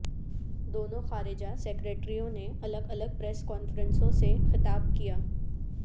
دونوں خارجہ سیکرٹریوں نے الگ الگ پریس کانفرنسوں سے خطاب کیا